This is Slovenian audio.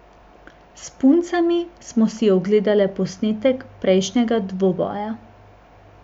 S puncami smo si ogledale posnetek prejšnjega dvoboja.